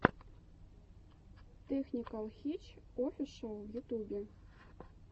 тэхникэл хитч офишэл в ютубе